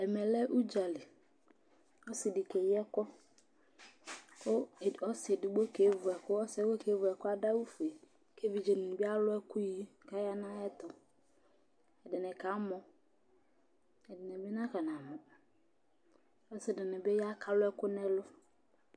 Ɛmɛ lɛ ʋdza li Ɔsɩ dɩ keyi ɛkʋ kʋ edigb ɔsɩ edigbo kevu ɛkʋ kʋ ɔsɩ yɛ kʋ ɔkevu ɛkʋ yɛ, adʋ awʋfue kʋ evidze dɩnɩ bɩ alʋ ɛkʋyi kʋ aya nʋ ayɛtʋ Ɛdɩnɩ kamɔ, ɛdɩnɩ bɩ nakɔnamɔ Ɔsɩ dɩnɩ bɩ ya kʋ alʋ ɛkʋ nʋ ɛlʋ